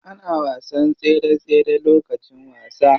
Ana wasan tsere tsere lokacin wasa.